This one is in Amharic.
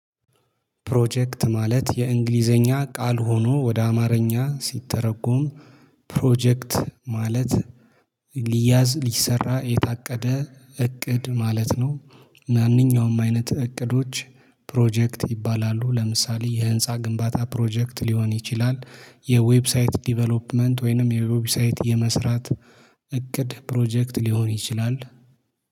ፕሮጀክት ማለት የእንግሊዝኛ ቃል ሆኖ ወደ አማርኛ ሲተረጎም ፕሮጀክት ማለት ሊያዝ ሊሰራ የታቀደ እቅድ ማለት ነው። ማንኛውም አይነት እቅዶች ፕሮጀክት ይባላሉ። ለምሳሌ የህንፃ ግንባታ ፕሮጀክት ሊሆን ይችላል። የዌብሳይት ዲቨሎፕመንት ወይንም የዌብሳይት የመስራት እቅድ ፕሮጀክት ሊሆን ይችላል